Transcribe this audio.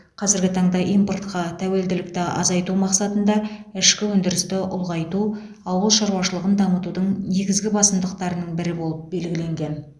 қазіргі таңда импортқа тәуелділікті азайту мақсатында ішкі өндірісті ұлғайту ауыл шаруашылығын дамытудың негізгі басымдықтарының бірі болып белгіленген